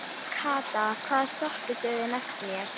Kata, hvaða stoppistöð er næst mér?